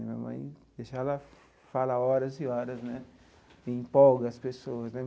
Minha mãe deixar ela fala horas e horas né e empolga as pessoas né.